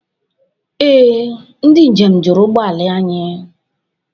Ee, ndị njem juru ụgbọala anyị.